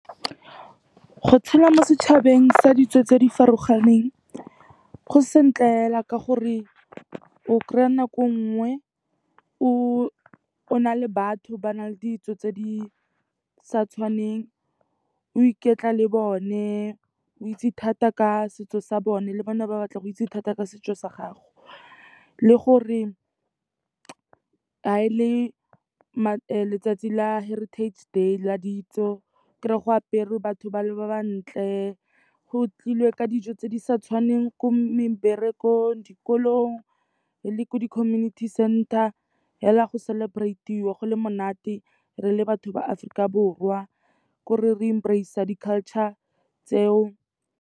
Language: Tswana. Go tshela mo setšhabeng sa ditso tse di farologaneng go sentle fela ka gore o kry-a nako e nngwe o na le batho ba na le ditso tse di sa tshwaneng, o iketla le bone o itse thata ka setso sa bone le bone ba batla go itse thata ka setso sa gago. Le gore ga e le letsatsi la heritage day la ditso o kry-e go aperwe, batho ba le ba ba ntle. Go tlilwe ka dijo tse di sa tshwaneng ko meberekong, dikolong le ko di-community center. Fela go celebtate-iwa go le monate re le batho ba Aforika Borwa, ko re re embrace-a di-culture tseo.